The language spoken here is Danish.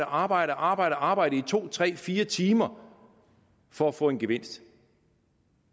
arbejde arbejde og arbejde i to tre fire timer for at få en gevinst